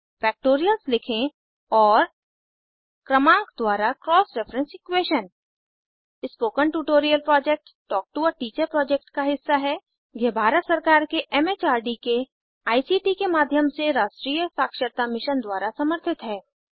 factorials लिखें और क्रमांक द्वारा cross reference equation spoken tutorial project talk to a teacher project का हिस्सा है यह भारत सरकार के एम एच आर डी के आई सी टी के माध्यम से राष्ट्रीय साक्षरता मिशन द्वारा समर्थित है